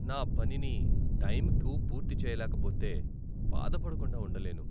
నా పనిని టైంకు పూర్తి చేయలేకపోతే బాధపడకుండా ఉండలేను.